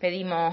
pedimos